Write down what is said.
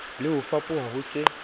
le ho fapoha ho se